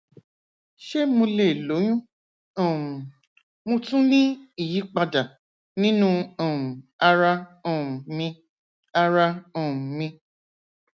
ṣe mo le loyun um mo tun ni iyipada ninu um ara um mi ara um mi